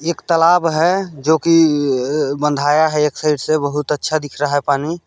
एक तालाब है जोकि बंधाया है एक साइड से बहोत अच्छा दिख रहा है पानी--